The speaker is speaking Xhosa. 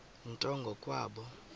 nto ngo kwabo